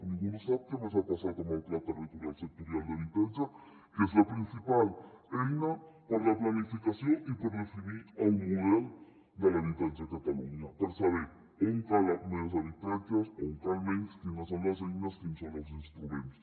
ningú no sap què més ha passat amb el pla territorial sectorial d’habitatge que és la principal eina per a la planificació i per definir el model de l’habitatge a catalunya per saber on calen més habitatges on en calen menys quines són les eines quins són els instruments